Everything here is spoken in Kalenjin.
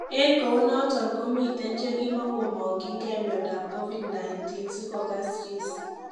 En kounoton komiiten chekimokomokingei miondab covid-19 sikogas Reese.